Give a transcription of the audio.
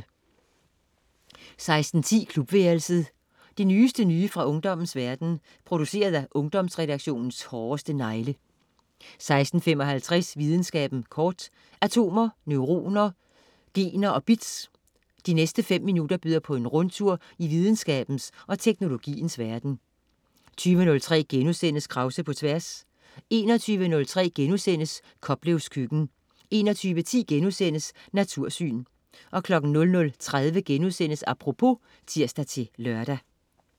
16.10 Klubværelset. Det nyeste nye fra ungdommens verden, produceret af Ungdomsredaktionens hårdeste negle 16.55 Videnskaben kort. Atomer, neuroner, gener og bits. De næste fem minutter byder på en rundtur i videnskabens og teknologiens verden 20.03 Krause på Tværs* 21.03 Koplevs Køkken* 21.10 Natursyn* 00.30 Apropos* (tirs-lør)